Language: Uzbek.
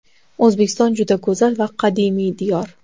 O‘zbekiston juda go‘zal va qadimiy diyor.